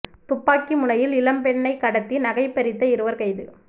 துப்பாக்கி முனையில் இளம் பெண்ணைக் கடத்தி நகைப் பறித்த இருவா் கைது